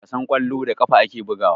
Wasan kwallo, da ƙafa ake bugawa.